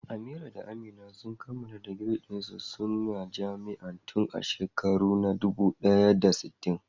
Amira da Amina sun kammala digirin su na jami'a tun a shekarun da na dubu ɗaya da sittin.